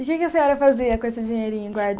E o que que a senhora fazia com esse dinheirinho